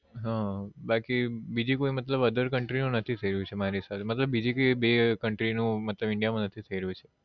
હમ બાકી બીજી કોઈ મતલબ other country નું નથી થઇ રહ્યું છે મારી હિસાબે થી મતલબ બીજી કોઈ be country નું india માં નથી થયી રહ્યું